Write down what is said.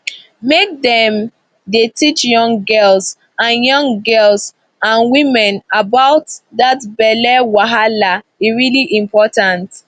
make dem dey teach young girls and young girls and women about that belly wahala e really important